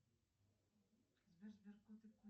найди мне гарри поттер